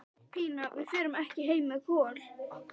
Pína, við förum ekki heim með Kol.